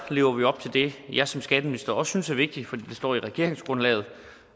lever vi op til det jeg som skatteminister også synes er vigtigt fordi det står i regeringsgrundlaget